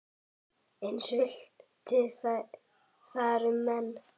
Eins villti þar um menn.